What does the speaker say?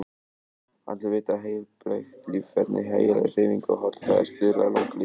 Allir vita að heilbrigt líferni, hæfileg hreyfing og holl fæða stuðlar að langlífi.